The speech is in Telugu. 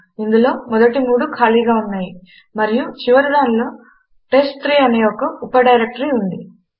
ఇందులో మొదటి మూడు ఖాళీగా ఉన్నాయి మరియు చివరి దానిలో టెస్ట్3 అనే ఒక ఉప డైరెక్టరీ ఉంది